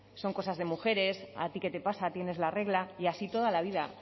son cosas de mujeres a ti qué te pasa tienes la regla y así toda la vida